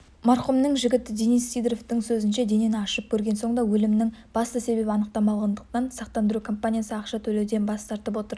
марқұмның жігіті денис сидоровтың сөзінше денені ашып көрген соң да өлімінің басты себебі анықталмағандықтан сақтандыру компаниясы ақша төлеуден бас тартып отыр